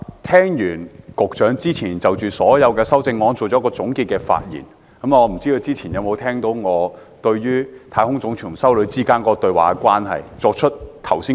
聽了局長就所有修正案作出的總結發言，不知是否和我曾提到的太空總署給一名修女的回信有關？